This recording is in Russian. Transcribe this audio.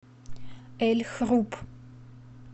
эль хруб